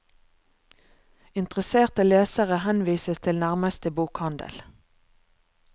Interesserte lesere henvises til nærmeste bokhandel.